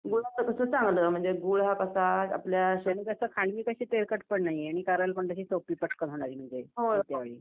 गुळाचं कसं चांगलं म्हणजे गूळ कस आपल्या शरीराची नाहीये आणि कारण होणारी नाही